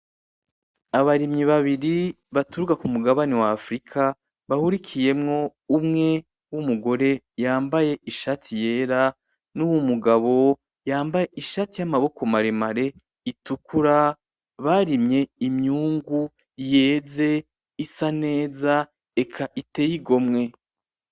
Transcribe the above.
Abarimyi babiri baturuka ku mugabane wa Afirika, bahurikiyemwo umwe w'umugore yambaye ishati yera, nuw'umugabo yambaye ishati y'amaboko maremare itukura, barimye imyungu, yeze, isa neza, eka iteye igomwe.